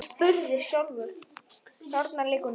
Þarna liggur nú